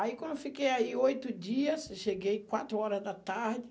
Aí, quando eu fiquei aí oito dias, cheguei quatro horas da tarde.